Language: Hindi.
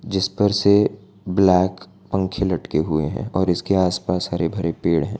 जिस पर से ब्लैक पंखे लटके हुए हैं और इसके आसपास हरे भरे पेड़ हैं।